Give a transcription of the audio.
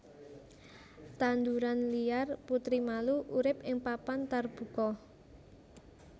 Tanduran liar putri malu urip ing papan tarbuka